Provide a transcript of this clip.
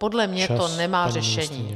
Podle mě to nemá řešení.